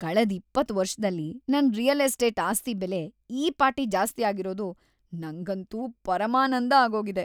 ಕಳೆದ್ ಇಪ್ಪತ್ತ್ ವರ್ಷದಲ್ಲಿ ನನ್ ರಿಯಲ್ ಎಸ್ಟೇಟ್ ಆಸ್ತಿ ಬೆಲೆ ಈ ಪಾಟಿ ಜಾಸ್ತಿ ಆಗಿರೋದು ನಂಗಂತೂ ಪರಮಾನಂದ ಆಗೋಗಿದೆ.